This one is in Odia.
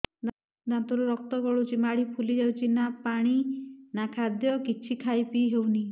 ଦାନ୍ତ ରୁ ରକ୍ତ ଗଳୁଛି ମାଢି ଫୁଲି ଯାଉଛି ନା ପାଣି ନା ଖାଦ୍ୟ କିଛି ଖାଇ ପିଇ ହେଉନି